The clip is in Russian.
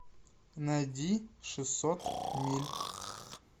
найди шестьсот миль